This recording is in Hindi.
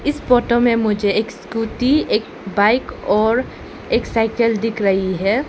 इस फोटो में मुझे एक स्कूटी एक बाइक और एक साइकिल दिख रही है।